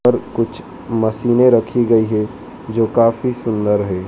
और कुछ मशीनें रखी गयी है जो काफी सुंदर है।